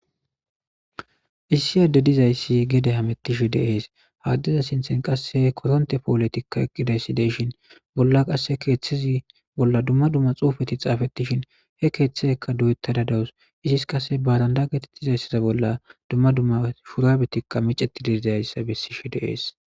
Issi adde dizayssi gede hamettishi deees haddeza sinthen qasse koronte pooletikka eqqiday sideyshin bolla qasse keeththezi bolla dumma dumma xuufeti xaafettishin he keeththeekka du7etta da dawus izis kase badanda getettizayssiza bolla dumma dumma shurabetikka miceti diizayssa bessishi deees.